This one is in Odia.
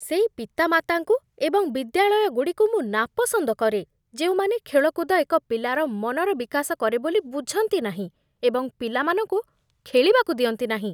ସେଇ ପିତାମାତାଙ୍କୁ ଏବଂ ବିଦ୍ୟାଳୟଗୁଡ଼ିକୁ ମୁଁ ନାପସନ୍ଦ କରେ, ଯେଉଁମାନେ ଖେଳକୁଦ ଏକ ପିଲାର ମନର ବିକାଶ କରେ ବୋଲି ବୁଝନ୍ତି ନାହିଁ ଏବଂ ପିଲାମାନଙ୍କୁ ଖେଳିବାକୁ ଦିଅନ୍ତି ନାହିଁ।